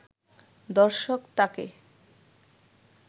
দর্শক তাকে